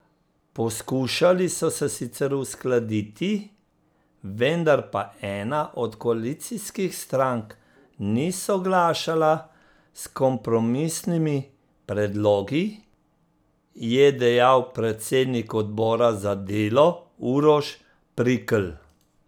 Poskušali so se sicer uskladiti, vendar pa ena od koalicijskih strank ni soglašala s kompromisnimi predlogi, je dejal predsednik obora za delo Uroš Prikl.